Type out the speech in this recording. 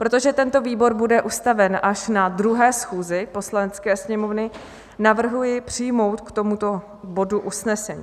Protože tento výbor bude ustaven až na 2. schůzi Poslanecké sněmovny, navrhuji přijmout k tomuto bodu usnesení.